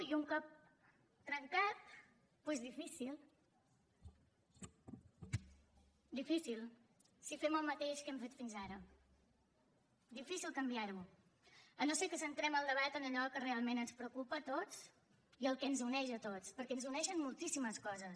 i un cop trencat doncs difícil difícil si fem el mateix que hem fet fins ara difícil canviar ho si no és que centrem el debat en allò que realment ens preocupa a tots i en el que ens uneix a tots perquè ens uneixen moltíssimes coses